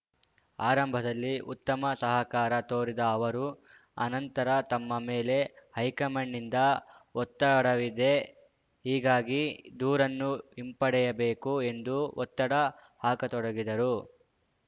ಆರಂಭದಲ್ಲಿ ಉತ್ತಮ ಸಹಕಾರ ತೋರಿದ ಅವರು ಅನಂತರ ತಮ್ಮ ಮೇಲೆ ಹೈಕಮಾಂಡ್‌ನಿಂದ ಒತ್ತಡವಿದೆ ಹೀಗಾಗಿ ದೂರನ್ನು ಹಿಂಪಡೆಯಬೇಕು ಎಂದು ಒತ್ತಡ ಹಾಕತೊಡಗಿದರು